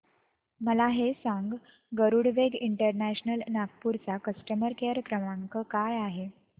मला हे सांग गरुडवेग इंटरनॅशनल नागपूर चा कस्टमर केअर क्रमांक काय आहे